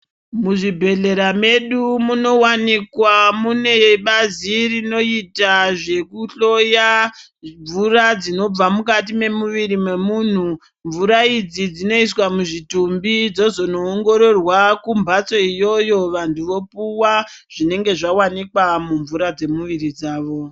Muzvibhehlera medu munowanikwa mune bazi rinoita zvekuhloya mvura dzinobva mukati memuviri memunhu. Mvura idzi dzinoiswa muzvimutumbi dzozono ongoroorwa kumbatso iyoyo vantu vopuwa zvinenge zvawanikwa mumvura dzemumuviri dzavo.